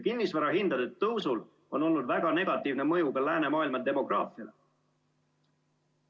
Kinnisvara hindade tõusul on olnud väga negatiivne mõju ka läänemaailma demograafiale.